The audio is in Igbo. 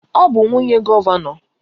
Ọ bụ nwunye gọvanọ.